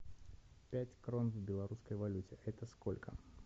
пять крон в белорусской валюте это сколько